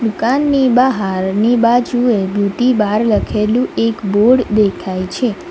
દુકાનની બાહારની બાજુએ બ્યુટી બાર લખેલું એક બોર્ડ દેખાય છે.